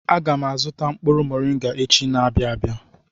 Aga m azụ mkpụrụ moringa echi na-abịa abịa.